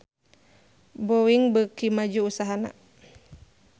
Boeing beuki maju usahana